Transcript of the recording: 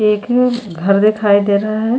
एक घर दिखाई दे रहा है।